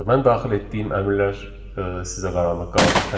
Mən daxil etdiyim əmrlər sizə qaranlıq qalacaq təbii ki.